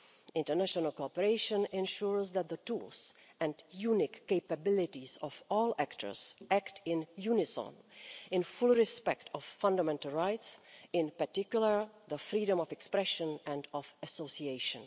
International cooperation ensures that the tools and unique capabilities of all actors act in unison, in full respect of fundamental rights, in particular the freedom of expression and of association.